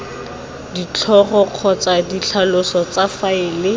ditlhogo kgotsa ditlhaloso tsa faele